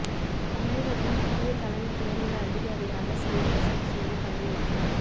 தமிழகத்தின் புதிய தலைமை தேர்தல் அதிகாரியாக சந்தீப் சக்சேனா பதவி ஏற்றார்